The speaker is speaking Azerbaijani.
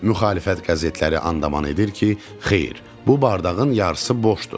Müxalifət qəzetləri anman edir ki, xeyr, bu bardağın yarısı boşdur.